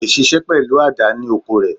Kò leè ṣiṣẹ́ pẹ̀lú àdá ní oko rẹ̀